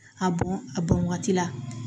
A bɔn a bɔn waati la